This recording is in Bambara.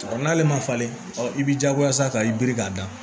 N'ale ma falen ɔ i b'i jagoya sa ka i biri k'a da